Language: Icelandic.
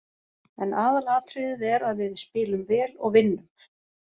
En aðalatriðið er að við spilum vel og vinnum.